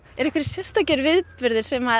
einhverjir sérstakir viðburðir sem